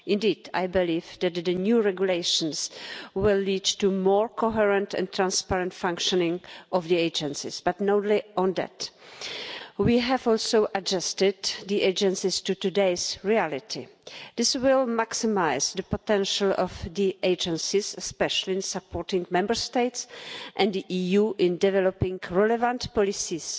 Indeed, I believe that the new regulations will lead to a more coherent and transparent functioning of the agencies, but not only that. We have also adjusted the agencies to today's reality. This will maximise the potential of the agencies, especially in supporting Member States and the EU in developing relevant policies.